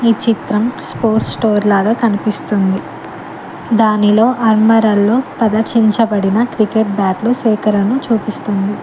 ఈ చిత్రం sports store లాగా కనిపిస్తుంది దానిలో ఆల్మరలో ప్రదర్శించబడిన క్రికెట్ బ్యాట్ లు సేకరణు చూపిస్తుంది.